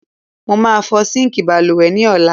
Mo máa fọ síǹkì balùwẹ̀ ní ọ̀la.